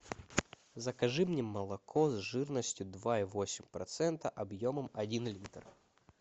закажи мне молоко с жирностью два и восемь процента объемом один литр